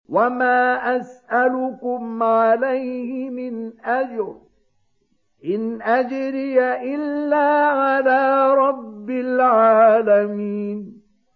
وَمَا أَسْأَلُكُمْ عَلَيْهِ مِنْ أَجْرٍ ۖ إِنْ أَجْرِيَ إِلَّا عَلَىٰ رَبِّ الْعَالَمِينَ